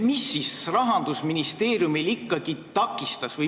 Mis ikkagi Rahandusministeeriumi takistas?